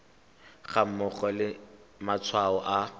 ga mmogo le matshwao a